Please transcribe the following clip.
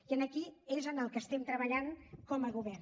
i aquí és en el que estem treballant com a govern